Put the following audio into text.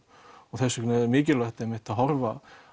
og þess vegna er mikilvægt að horfa